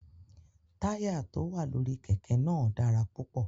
Táyà tó wà lórí kẹ̀kẹ́ náà dára púpọ̀.